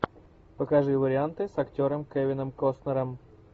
покажи варианты с актером кевином костнером